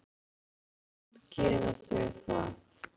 En samt gera þau það.